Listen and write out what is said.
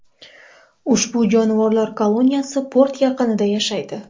Ushbu jonivorlar koloniyasi port yaqinida yashaydi.